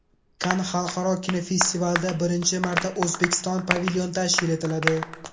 Kann xalqaro kinofestivalida birinchi marta O‘zbekiston pavilyoni tashkil etiladi.